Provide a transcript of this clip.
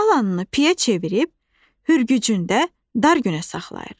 Qalanını piyə çevirib, hürgücündə dar günə saxlayır.